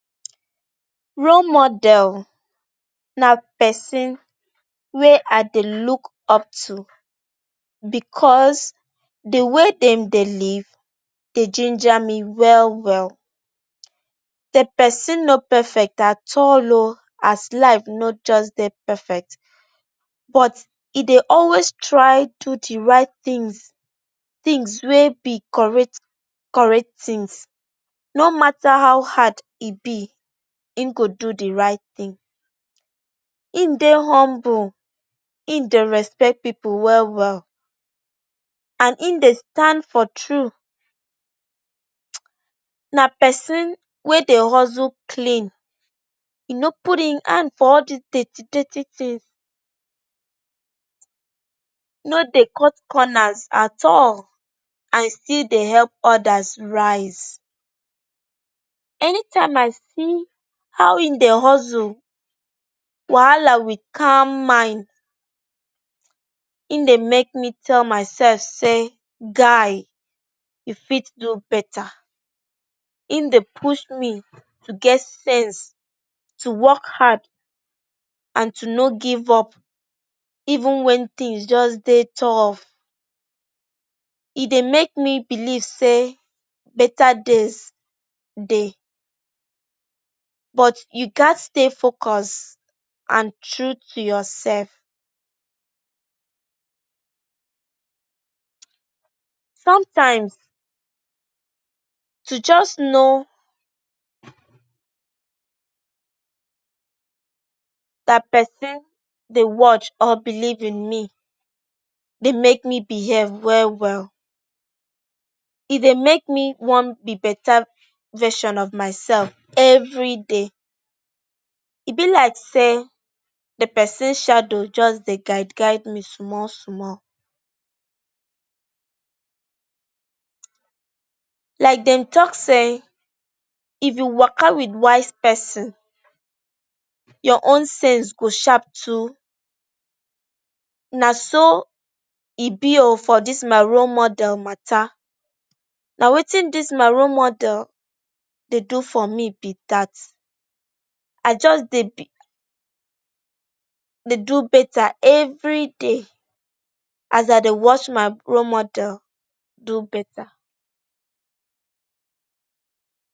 Role model na pesin wey I dey look up to bicos di way dem dey live dey ginger me well well. Di pesin no perfect at all as life no just dey perfect, but e dey always try do di right tins, tins wey be correct correct tins. No mata how hard e be, im go do di right tin. Im dey humble, im respect pipu well well and im dey stand for true. Na pesin wey dey hustle clean, e no put im hand for all di dirty dirty tins, no dey cut corners at all and evstill dey help odas raise. Anytime I see how im dey hustle wahala wit calm mind, im dey make me tell myself say guy, you fit do betta. Im dey push me to get sense, to wok hard, to no give up even wen tins just dey tough. E dey make me believe say betta days dey but you gatz stay focus and true to yoursef. Somtime to just know say pesin dey watch or believe in me dey make me beheave well well. E dey make me wan be betta version of mysef evri day. E be like say di pesin shadow just dey guide guide me small small. Like dem tok say, if you waka wit wise pesin, your own sense go sharp too. Na so e be o for dis my role model matta. Na wetin dis my role model dey do for me be dat. I just dey do betta evri day as I dey watch my role model do betta.